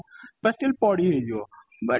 ତ still ପଢ଼ିହେଇଜିବ but